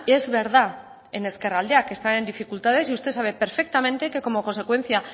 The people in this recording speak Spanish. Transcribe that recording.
es verdad en ezkerraldea que está en dificultades y usted sabe perfectamente que como consecuencia